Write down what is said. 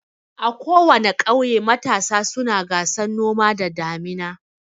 A kowana ƙauye matasa suna gasan noma da damina.